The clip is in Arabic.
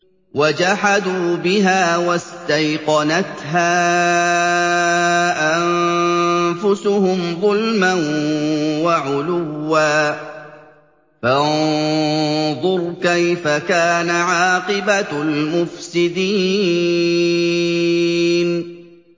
وَجَحَدُوا بِهَا وَاسْتَيْقَنَتْهَا أَنفُسُهُمْ ظُلْمًا وَعُلُوًّا ۚ فَانظُرْ كَيْفَ كَانَ عَاقِبَةُ الْمُفْسِدِينَ